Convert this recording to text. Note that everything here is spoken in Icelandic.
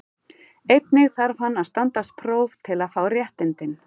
Einnig þarf hann að standast próf til að fá réttindin.